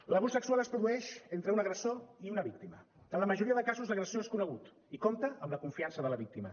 l’abús sexual es produeix entre un agressor i una víctima en la majoria dels casos l’agressor és conegut i compta amb la confiança de la víctima